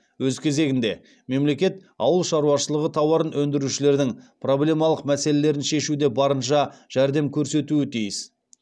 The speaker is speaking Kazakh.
өз кезегінде мемлекет ауыл шаруашылығы тауарын өндірушілердің проблемалық мәселелерін шешуде барынша жәрдем көрсетуі тиіс